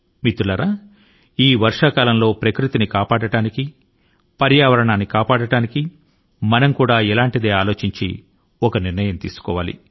మిత్రులారా ఈ వర్ష కాలం లో ప్రకృతి ని పరిరక్షించడానికి మనం కూడా చొరవ తీసుకోవాలి